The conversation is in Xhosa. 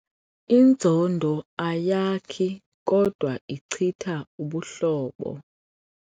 Inzondo ayakhi kodwa ichitha ubuhlobo.